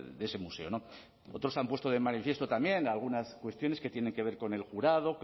de ese museo otros han puesto de manifiesto también algunas cuestiones que tienen que ver con el jurado